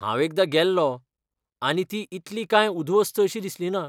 हांव एकदां गेल्लों, आनी ती इतली कांय उध्वस्त अशी दिसलिना.